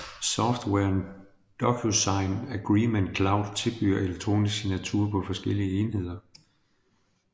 Softwaren DocuSign Agreement Cloud tilbyder elektronisk signatur på forskellige enheder